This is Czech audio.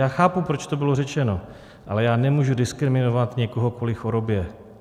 Já chápu, proč to bylo řečeno, ale já nemůžu diskriminovat někoho kvůli chorobě.